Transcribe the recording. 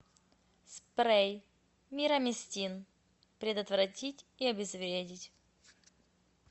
спрей мирамистин предотвратить и обезвредить